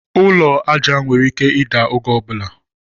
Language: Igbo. Ụlọ aja nwere ike ida oge ọbula